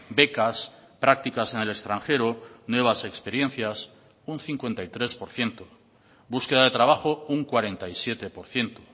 becas prácticas en el extranjero nuevas experiencias un cincuenta y tres por ciento búsqueda de trabajo un cuarenta y siete por ciento